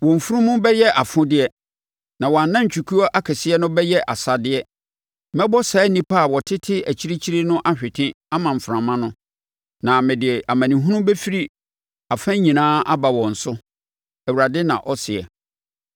Wɔn mfunumu bɛyɛ afodeɛ, na wɔn anantwikuo akɛseɛ no bɛyɛ asadeɛ. Mɛbɔ saa nnipa a wɔtete akyirikyiri no ahwete ama mframa no, na mede amanehunu bɛfiri afa nyinaa aba wɔn so,” Awurade na ɔseɛ.